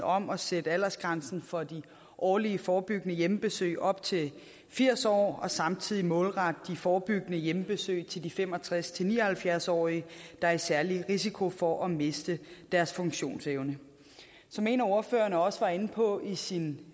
om at sætte aldersgrænsen for de årlige forebyggende hjemmebesøg op til firs år og samtidig målrette de forebyggende hjemmebesøg til de fem og tres til ni og halvfjerds årige der er i særlig risiko for at miste deres funktionsevne som en af ordførerne også var inde på i sin